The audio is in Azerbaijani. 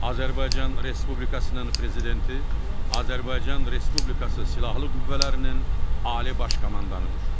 Azərbaycan Respublikasının prezidenti Azərbaycan Respublikası Silahlı Qüvvələrinin Ali Baş Komandanıdır.